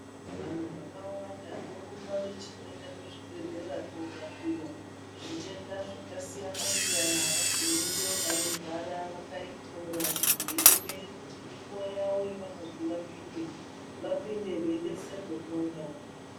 Vantu vakawanda vorumba vachienda kuzvibhedhleya kurapiwa zvindeta zvakasiyana-siyana vagumeyo vanogara vakaita muraini veiemera kuti kana nguva yavo yaguma vapinde veidetserwa umwe naumwe